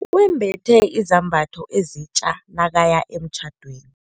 Wembethe izambatho ezitja nakaya emtjhadweni.